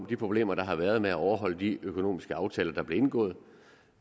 de problemer der har været med at overholde de økonomiske aftaler der blev indgået